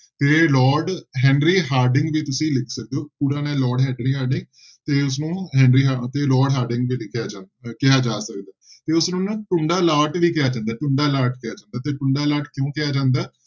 ਤੇ Lord Henry Harding ਵੀ ਤੁਸੀਂ ਲਿਖ ਸਕਦੇ ਹੋ ਪੂਰਾ ਨਾਂ ਹੈ ਲਾਰਡ ਹੈਨਰੀ ਹਾਰਡਿੰਗ ਤੇ ਉਸਨੂੰ ਹੈਨਰੀ ਹਾ~ ਤੇ ਲਾਰਡ ਹਾਰਡਿੰਗ ਵੀ ਲਿਖਿਆ ਜਾ ਸਕਦਾ, ਕਿਹਾ ਜਾ ਸਕਦਾ, ਤੇ ਉਸਨੂੰ ਨਾ ਟੁੰਡਾ ਲਾਟ ਵੀ ਕਿਹਾ ਜਾਂਦਾ, ਟੁੰਡਾ ਲਾਟ ਕਹਿ ਸਕਦੇ ਹਾਂ ਤੇ ਟੁੰਡਾ ਲਾਟ ਕਿਉਂ ਕਿਹਾ ਜਾਂਦਾ,